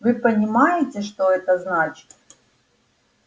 вы понимаете что это значит